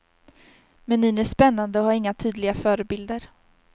Menyn är spännande och har inga tydliga förebilder.